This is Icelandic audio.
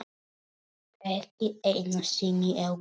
Ekki einu sinni á götu.